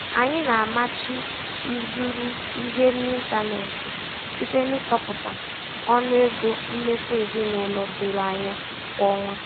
Anyị na-amachi ịzụrụ ihe n'ịntanetị site n'ịtọpụta ọnụ ego mmefu ezinụlọ doro anya kwa ọnwa.